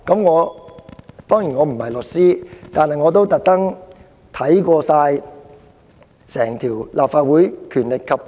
我並非律師，但我亦特意就此翻閱《立法會條例》。